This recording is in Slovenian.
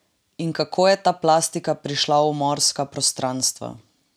In kako je ta plastika prišla v morska prostranstva?